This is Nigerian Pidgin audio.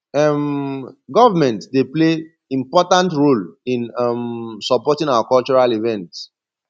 um government dey play important role in um supporting our cultural events